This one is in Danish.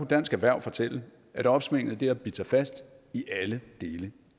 dansk erhverv fortælle at opsvinget har bidt sig fast i alle dele